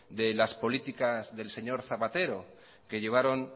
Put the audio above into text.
de las políticas del señor zapatero que llevaron